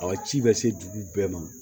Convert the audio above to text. A ka ci bɛ se dugu bɛɛ ma